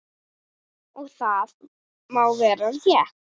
Og það má vera rétt.